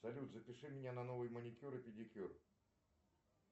салют запиши меня на новый маникюр и педикюр